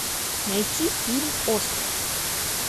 найти фильм остров